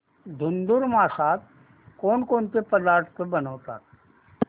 धुंधुर मासात कोणकोणते पदार्थ बनवतात